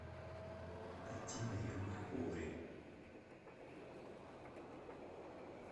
найти наемник куорри